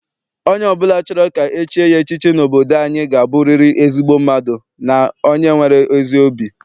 Onye ọbụla chọrọ ka e chie ya echiche n'obodo anyị ga aburiri ezigbo mmadụ na onye nwere ezi obi.